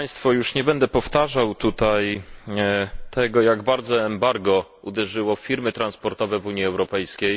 Już nie będę powtarzał tutaj tego, jak bardzo embargo uderzyło w firmy transportowe w Unii Europejskiej.